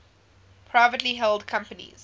privately held companies